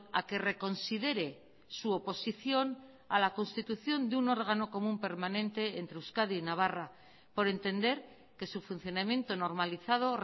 a que reconsidere su oposición a la constitución de un órgano común permanente entre euskadi y navarra por entender que su funcionamiento normalizado